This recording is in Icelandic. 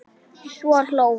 Svo hló hún.